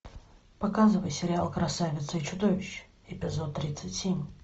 показывай сериал красавица и чудовище эпизод тридцать семь